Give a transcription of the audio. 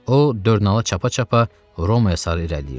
O dörnalı çapa-çapa Romaya sarı irəliləyirdi.